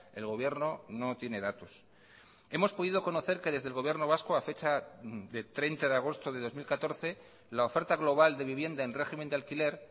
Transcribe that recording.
el gobierno no tiene datos hemos podido conocer que desde el gobierno vasco a fecha de treinta de agosto de dos mil catorce la oferta global de vivienda en régimen de alquiler